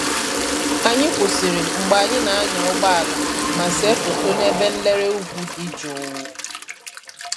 Anyị kwụsịrị mgbe anyị na-anya ụgbọ ala ma see foto n'ebe nlere ugwu dị jụụ